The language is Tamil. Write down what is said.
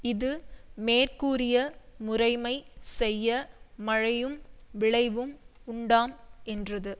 இது மேற்கூறிய முறைமை செய்ய மழையும் விளைவும் உண்டாம் என்றது